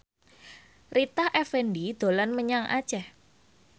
Rita Effendy dolan menyang Aceh